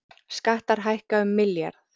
Skattar hækka um milljarð